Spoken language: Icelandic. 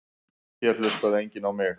Hér hlustaði enginn á mig.